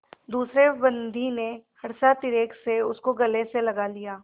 दूसरे बंदी ने हर्षातिरेक से उसको गले से लगा लिया